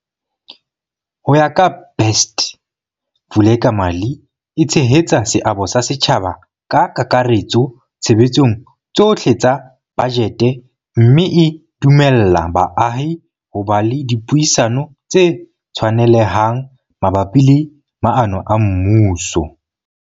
Ho ya ka Best, Vulekamali e tshehetsa seabo sa setjhaba ka kakaretso tshebetsong tsohle tsa bajete mme e dumella baahi ho ba le dipuisano tse tshwanelehang mabapi le maano a mmuso.